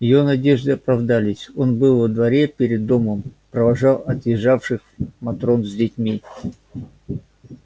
её надежды оправдались он был во дворе перед домом провожал отъезжавших матрон с детьми